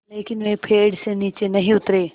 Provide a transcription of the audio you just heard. लेकिन वे पेड़ से नीचे नहीं उतरे